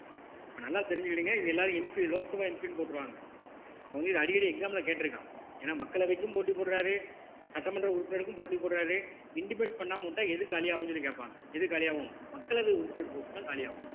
இப்ப நல்லா தெரிஞ்சுக்கிடுங்க இது எல்லாரும் MP லோக்சபா MP ன்னு போட்டுருவாங்க அப்ப வந்து இது அடிக்கடி exam ல கேட்டிருக்கான் ஏன்னா மக்களவைக்கும் போட்டி போடுறாரு சட்டமன்ற உறுப்பினருக்கும் போட்டி போடுறாரு intimate பண்ணாம விட்டா எது காலியாகும்னு சொல்லி கேட்பாங்க எது காலியாகும் மக்களவை உறுப்பினர் post தான் காலியாகும்